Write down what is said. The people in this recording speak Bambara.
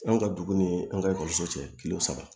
An ka dugu ni an ka ekɔliso cɛ kile saba